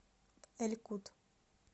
эль кут